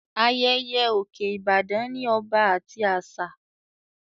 Ayẹyẹ òkè Ìbàdàn ní ọba àti àṣà